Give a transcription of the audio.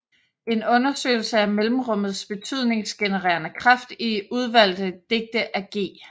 En undersøgelse af mellemrummets betydningsgenererende kraft i udvalgte digte af G